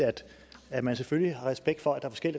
at man selvfølgelig har respekt for at der